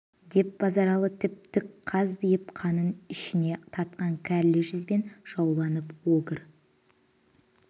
деп базаралы тіп-тік қаздиып қанын ішіне тартқан кәрлі жүзбен жауланып огыр